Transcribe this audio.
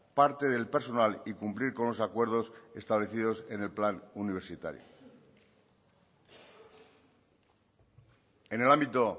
parte del personal y cumplir con los acuerdos establecidos en el plan universitario en el ámbito